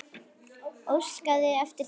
Óskaði eftir þeim?